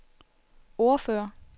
ordfører